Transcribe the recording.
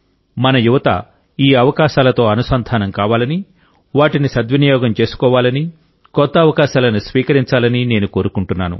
మన యువత ఈ అవకాశాలతో అనుసంధాన కావాలని వాటిని సద్వినియోగం చేసుకోవాలని కొత్త అవకాశాలను స్వీకరించాలని నేను కోరుకుంటున్నాను